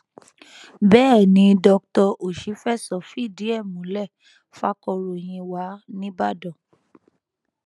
bẹẹ ni dr òṣìfẹsọ fìdí ẹ múlẹ fàkọròyìn wa nìbàdàn